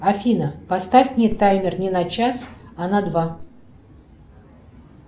афина поставь мне таймер не на час а на два